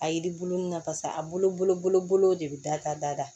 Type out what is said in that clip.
A yiri bulu nun na pasa a bolo de bi da ka da da